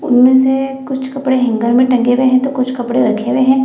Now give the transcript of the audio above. उनमे में से कुछ कपड़े हंगेर में टंगे हुए है तो कुछ रखे हुए है।